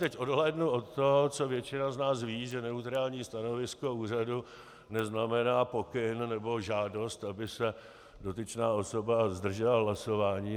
Teď odhlédnu od toho, co většina z nás ví, že neutrální stanovisko úřadu neznamená pokyn nebo žádost, aby se dotyčná osoba zdržela hlasování.